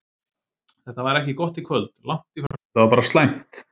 Þetta var ekki gott í kvöld, langt í frá, þetta var bara slæmt.